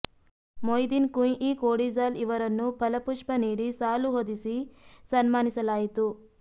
ಮೊಯ್ದಿನ್ ಕುಂಞಿ ಕೋಡಿಜಾಲ್ ಇವರನ್ನು ಫಲಪುಷ್ಪ ನೀಡಿ ಸಾಲು ಹೊದಿಸಿ ಸನ್ಮಾನಿಸಲಾಯಿತು